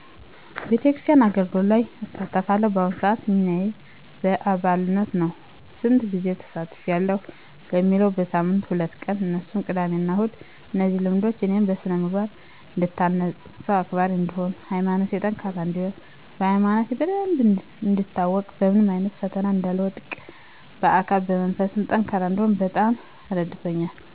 የቤተክርስቲያን አገልግሎቶች ላይ እሳተፋለሁ። በአሁኑ ስዓት ሚናዬ በአባልነት ነው። ስንት ጊዜ ትሳተፌያለሽ ለሚለው በሳምንት ሁለት ቀን እነሱም ቅዳሜ እና እሁድ። እነዚህ ልምዶች እኔን በስነምግባር እንድታነፅ፣ ሰው አክባሪ እንድሆን፣ በሀይማኖቴ ጠንካራ እነድሆን፣ ሀይማኖቴን በደንብ እንዳውቅ፣ በምንም አይነት ፈተና እንዳልወድቅ፣ በአካልም በመንፈስም ጠንካራ እንድሆን በጣም ረድቶኛል።